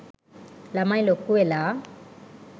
ළමයි ලොකුවෙලා